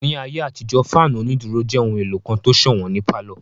Ní ayé àtijó, fáànù onídúró jẹ́ ohun èlò kan tó sọ̀wọ́n ní pálọ̀